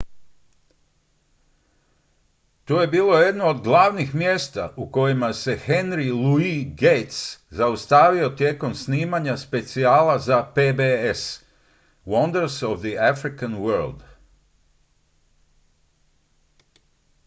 to je bilo jedno od glavnih mjesta u kojima se henry louis gates zaustavio tijekom snimanja specijala za pbs wonders of the african world